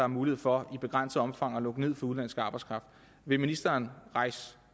mulighed for i begrænset omfang at lukke ned for udenlandsk arbejdskraft vil ministeren rejse